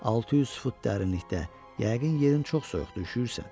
600 fut dərinlikdə yəqin yerin çox soyuqdur üşüyürsən.